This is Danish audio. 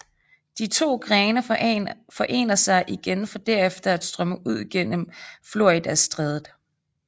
De to grene forener sig igen for derefter at strømme ud gennem Floridastrædet